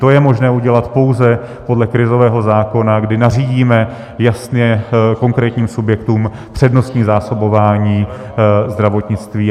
To je možné udělat pouze podle krizového zákona, kdy nařídíme jasně konkrétním subjektům přednostní zásobování zdravotnictví.